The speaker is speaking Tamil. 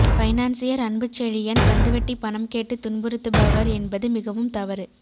பைனான்சியர் அன்புச்செழியன் கந்துவட்டி பணம் கேட்டு துண்புறுத்துபவர் என்பது மிகவும் தவறு